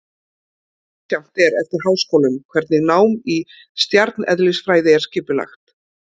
Misjafnt er eftir háskólum hvernig nám í stjarneðlisfræði er skipulagt.